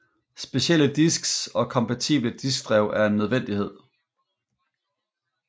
Specielle disks og kompatible diskdrev er en nødvendighed